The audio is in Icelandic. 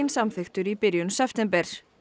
samþykktur í september